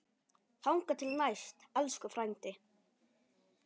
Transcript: Þangað til næst, elsku frændi.